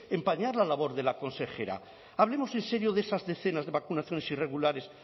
empañar la labor de la consejera hablemos en serio de esas decenas de vacunaciones irregulares